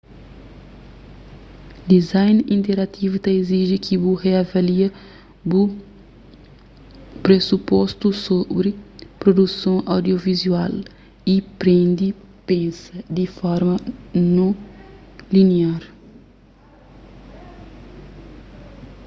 design interativu ta iziji ki bu riavalia bu presupostus sobri produson audiovizual y prende pensa di un forma non liniar